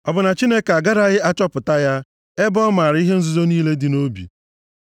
ọ bụ na Chineke agaraghị achọpụta ya, ebe ọ maara ihe nzuzo niile dị nʼobi?